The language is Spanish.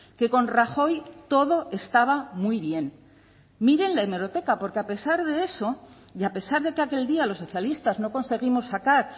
que con rajoy todo estaba muy bien miren la hemeroteca porque a pesar de eso y a pesar de que aquel día los socialistas no conseguimos sacar